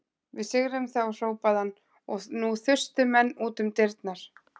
Við sigrum þá hrópaði hann og nú þustu menn út um dyrnar.